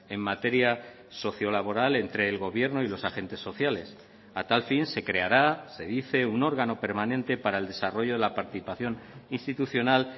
en materia socio laboral entre el gobierno y los agentes sociales a tal fin se creará se dice un órgano permanente para el desarrollo de la participación institucional